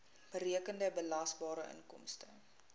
berekende belasbare inkomste